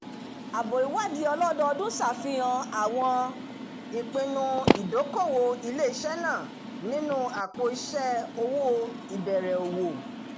àbọ̀ ìwádìí ọlọ́dọòdún ṣàfihàn àwọn ìpinnu ìdókòwò ilé-isé náà nínú àpò-iṣẹ́ owó ìbẹ̀rẹ̀ òwò